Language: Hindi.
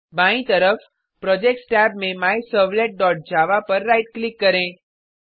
बायीं तरफ प्रोजेक्ट्स टैब में माय सर्वलेट डॉट जावा पर राइट क्लिक करें